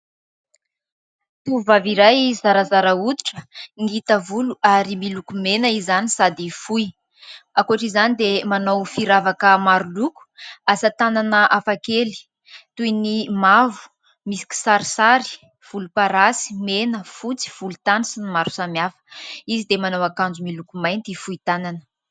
Tovovavy iray zarazara hoditra, ngita volo ary miloko mena izany sady fohy. Ankoatr' izany dia manao firavaka maroloko, asa tanana hafa kely toy ny: mavo misy kisarisary, volom-parasy, mena, fotsy, volon- tany sy ny maro samihafa. Izy dia manao ankanjo miloko mainty fohy tanana.